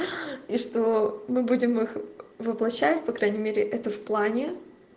и что мы будем их воплощать по крайней мере это в плане